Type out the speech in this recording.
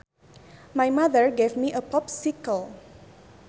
My mother gave me a popsicle